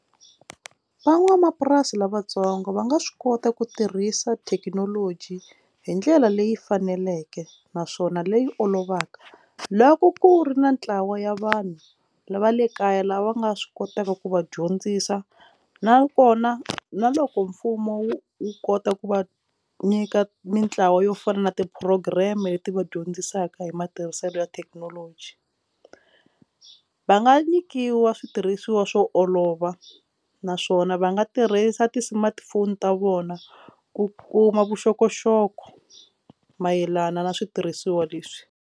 Van'wamapurasi lavatsongo va nga swi kota ku tirhisa thekinoloji hi ndlela leyi faneleke naswona leyi olovaka loko ku ri na ntlawa ya vanhu va le kaya lava va nga swi kotaka ku va dyondzisa nakona na loko mfumo wu wu kota ku va nyika mintlawa yo fana na ti program leti va dyondzisaka hi matirhiselo ya thekinoloji va nga nyikiwa switirhisiwa swo olova naswona va nga tirhisa ti smartphone ta vona ku kuma vuxokoxoko mayelana na switirhisiwa leswi.